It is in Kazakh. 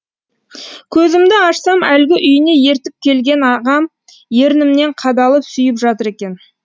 көзімді ашсам әлгі үйіне ертіп келген ағам ернімнен қадалып сүйіп жатыр екен